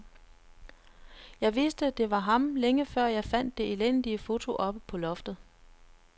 Jeg vidste, det var ham længe før, jeg fandt det elendige foto oppe på loftet.